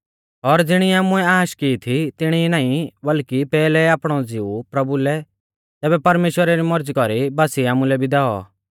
और ज़िणी आमुऐ आश की थी तिणी ई नाईं बल्कि पैहलै आपणौ ज़िऊ प्रभु लै तैबै परमेश्‍वरा री मौरज़ी कौरी बासीऐ आमुलै भी दैऔ